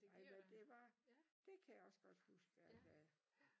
Ej men det var det kan jeg også godt huske at jeg